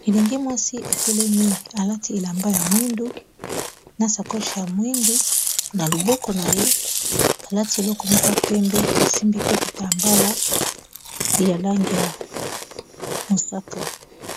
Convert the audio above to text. Elenge mwasi atelemi alati elamba ya mwindu na sakoche ya mwindu na loboko na ye alati eloko moko ya pembe asimbi pe kitambala ya langi ya mosaka.